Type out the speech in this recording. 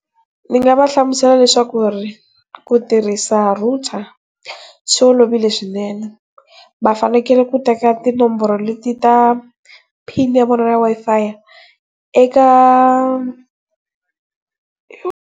Ni nga va hlamusela leswaku, ku tirhisa router swi olovile swinene, va fanekele ku teka tinomboro leti ta pin ya vona ya Wi-Fi eka.